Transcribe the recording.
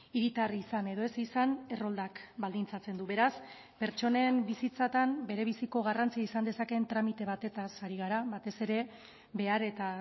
hiritar izan edo ez izan erroldak baldintzatzen du beraz pertsonen bizitzatan berebiziko garrantzia izan dezakeen tramite batez ari gara batez ere behar eta